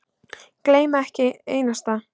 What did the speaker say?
Gleyma ekki einu einasta.